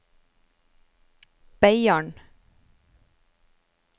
Beiarn